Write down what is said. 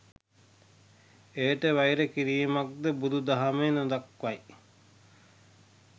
එයට වෛර කිරීමක්ද බුදු දහම නොදක්වයි.